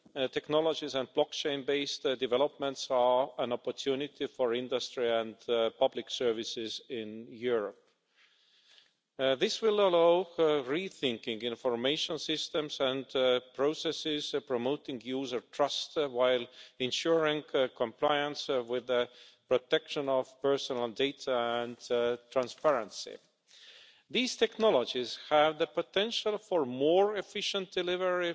technologies and blockchain-based developments are an opportunity for industry and public services in Europe. This will allow rethinking of information systems and processes promoting user trust while ensuring compliance with the protection of personal data and transparency. These technologies have the potential for more efficient delivery